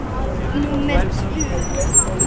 Númer tvö